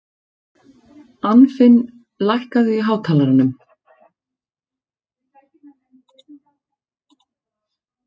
Anfinn, lækkaðu í hátalaranum.